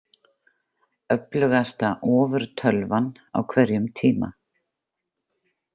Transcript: Öflugasta ofurtölvan á hverjum tíma.